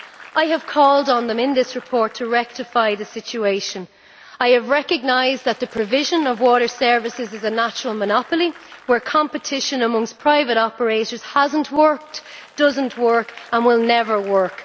I have called on it in this report to rectify the situation. I have recognised that the provision of water services is a natural monopoly, where competition amongst private operators has not worked, does not work and will never work.